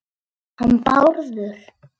Ha- hann Bárður?